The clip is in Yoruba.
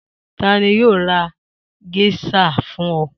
Ta ni yóò ra géíṣà fún ọ?